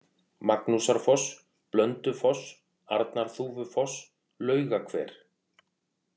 Magnúsarfoss, Blöndufoss, Arnarþúfufoss, Laugahver